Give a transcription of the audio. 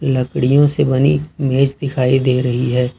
लकड़ियों से बनी इमेज दिखाई दे रही है।